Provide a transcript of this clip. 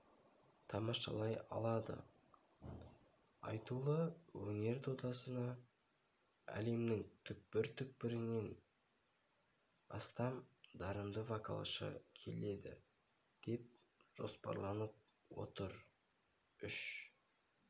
тамашалай алады айтулы өнер додасына әлемнің түкпір-түкпірінен астам дарынды вокалшы келеді деп жоспарланып отыр үш